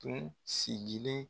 Kun sigilen